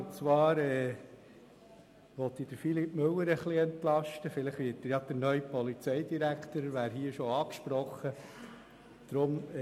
Unter Umständen kann Grossrat Müller etwas entlastet werden, falls dieser der neue Polizeidirektor wird.